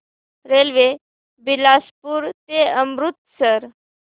railway Bilaspur ते अमृतसर